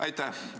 Aitäh!